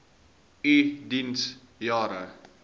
u diens jare